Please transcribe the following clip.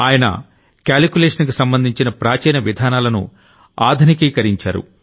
ఆయన క్యాలిక్యులేషన్ కి సంబంధించిన ప్రాచీన విధానాలను ఆధునికీకరించారు